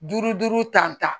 Duuru duuru ta